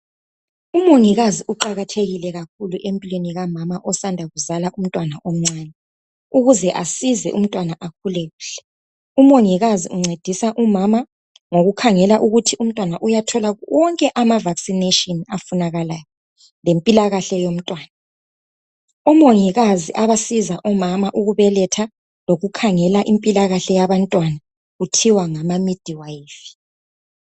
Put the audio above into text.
Umongikazi uqakathekile kakhulu empilweni kamama osanda kuzala umntwana omncane ukuze asize umntwana akhulu kuhle. Umongikazi uncedisa umama ngokukhangela ukuthi umntwana uyathola wonke amavaccination afunakalayo lempilakahle yomntwana. Omongikazi abasiza omama ukubeletha lokukhangela impilakahle yabantwana kuthiwa ngama midwife.